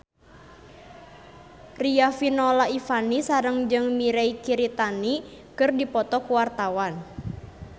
Riafinola Ifani Sari jeung Mirei Kiritani keur dipoto ku wartawan